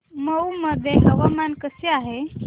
मौ मध्ये हवामान कसे आहे